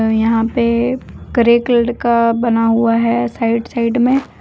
यहां पे का बना हुआ है साइड साइड में।